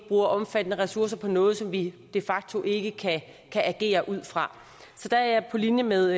bruger omfattende ressourcer på noget som vi de facto ikke kan agere ud fra så der er jeg på linje med